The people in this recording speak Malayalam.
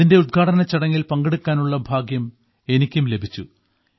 ഇതിന്റെ ഉദ്ഘാടനച്ചടങ്ങിൽ പങ്കെടുക്കാനുള്ള ഭാഗ്യം എനിക്കും ലഭിച്ചു